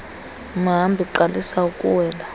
mhambi qalisa ukuwela